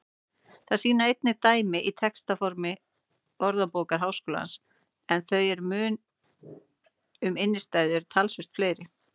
Það sýna einnig dæmi í textasafni Orðabókar Háskólans en þau um innstæðu eru talsvert fleiri.